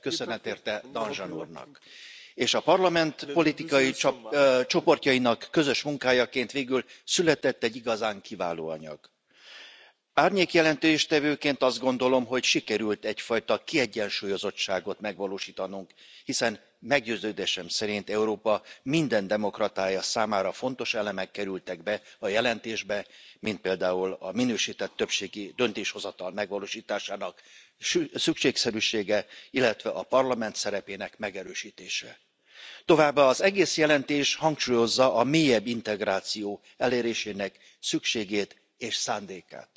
Elnök Asszony, tisztelt Kollégák! A CSDP kapcsán kaptunk egy alapvetően jó szöveget, köszönet érte Danjean úrnak! És a Parlament politikai csoportjainak közös munkájaként végül született egy igazán kiváló anyag. Árnyék jelentéstevőként azt gondolom, hogy sikerült egyfajta kiegyensúlyozottságot megvalósítanunk, hiszen meggyőződésem szerint Európa minden demokratája számára fontos elemek kerültek be a jelentésbe, mint például a minősített többségi döntéshozatal megvalósításának szükségszerűsége, illetve a Parlament szerepének megerősítése. Továbbá az egész jelentés hangsúlyozza a mélyebb integráció elérésének szükségét és szándékát.